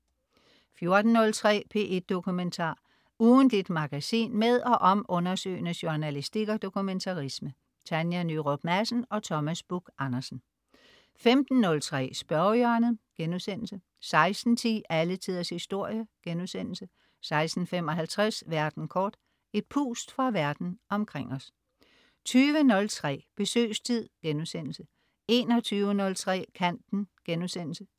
14.03 P1 Dokumentar. ugentligt magasin med og om undersøgende journalistik og dokumentarisme. Tanja Nyrup Madsen og Thomas Buch-Andersen 15.03 Spørgehjørnet* 16.10 Alle Tiders Historie* 16.55 Verden kort. Et pust fra verden omkring os 20.03 Besøgstid* 21.03 Kanten*